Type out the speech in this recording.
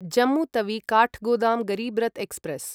Jammu Tawi Kathgodam Garib Rath express